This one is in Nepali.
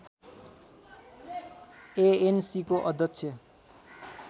एएनसीको अध्यक्ष